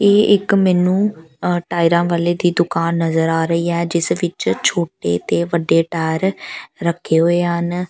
ਇਹ ਇੱਕ ਮੈਨੂੰ ਆ ਟਾਇਰਾਂ ਵਾਲੇ ਦੀ ਦੁਕਾਨ ਨਜ਼ਰ ਆ ਰਹੀ ਹੈ ਜਿਸ ਵਿੱਚ ਛੋਟੇ ਤੇ ਵੱਡੇ ਟਾਇਰ ਰੱਖੇ ਹੋਏ ਹਨ।